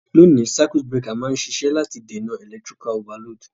Loni, circuit breaker ma n sisẹ́ láti dènàn electrical overload